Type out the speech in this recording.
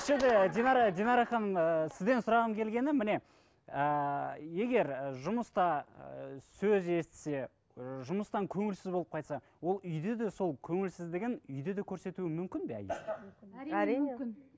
осы жерде динара динара ханым ыыы сізден сұрағым келгені міне ыыы егер жұмыста сөз естісе жұмыстан көңілсіз болып қайтса ол үйде де сол көңілсіздігін үйде де көрсетуі мүмкін бе әйел әрине